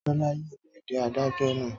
Tọ́lá yóò pàdé adájọ́ náà